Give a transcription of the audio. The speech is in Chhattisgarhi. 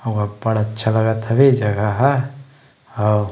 अऊ अब्बड़ अच्छा लगत हवे जगह ह--